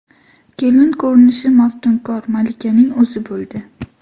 Kelin ko‘rinishi maftunkor malikaning o‘zi bo‘ldi.